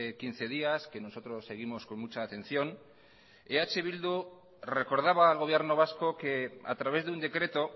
quince días que nosotros seguimos con mucha atención eh bildu recordaba al gobierno vasco que a través de un decreto